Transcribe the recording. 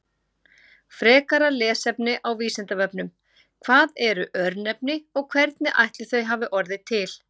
Frekara lesefni á Vísindavefnum: Hvað eru örnefni og hvernig ætli þau hafi orðið til?